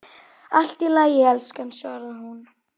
Allt í lagi, elskan, svaraði hún.